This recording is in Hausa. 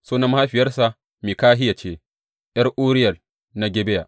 Sunan mahaifiyarsa Mikahiya ce, ’yar Uriyel na Gibeya.